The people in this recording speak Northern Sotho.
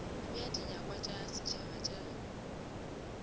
bea dinyakwa tša setšhaba tša